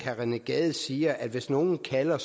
rené gade siger at hvis nogen kalder